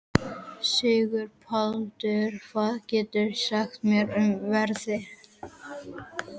Sigurbaldur, hvað geturðu sagt mér um veðrið?